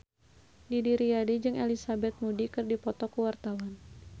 Didi Riyadi jeung Elizabeth Moody keur dipoto ku wartawan